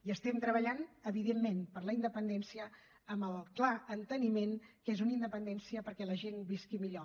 i estem treballant evidentment per la independència amb el clar enteniment que és una independència perquè la gent visqui millor